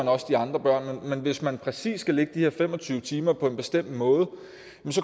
også de andre børn men hvis man præcis skal lægge de her fem og tyve timer på en bestemt måde